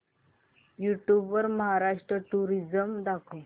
YouTube वर Maharashtra tourism दाखव